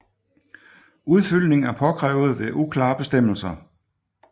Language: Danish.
Udfyldning er påkrævet ved uklare bestemmelser